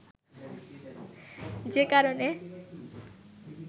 যে কারণে